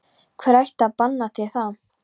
Hver ætti að banna þér það?